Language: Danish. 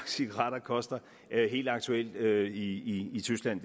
cigaretter koster helt aktuelt i tyskland